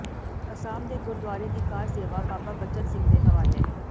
ਅਸਾਮ ਦੇ ਗੁਰਦੁਆਰੇ ਦੀ ਕਾਰ ਸੇਵਾ ਬਾਬਾ ਬਚਨ ਸਿੰਘ ਦੇ ਹਵਾਲੇ